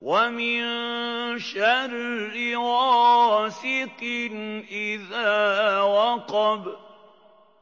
وَمِن شَرِّ غَاسِقٍ إِذَا وَقَبَ